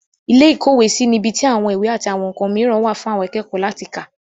ilé ìkówèésí ni ibi tí àwọn ìwé àti àwọn ǹkan mìíràn wà fún àwọn akẹ́kọ̀ọ́ láti kà.